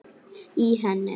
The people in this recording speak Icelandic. í henni